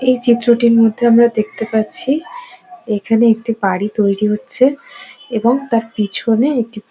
এই চিত্রটির মধ্যে আমরা দেখতে পাচ্ছি এখানে একটি বাড়ি তৈরি হচ্ছে এবং তার পিছনে একটি --